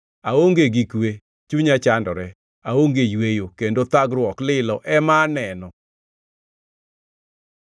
Aonge gi kwe, chunya chandore; aonge yweyo, kendo thagruok lilo ema aneno.”